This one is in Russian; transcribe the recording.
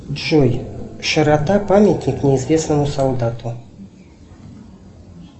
джой широта памятник неизвестному солдату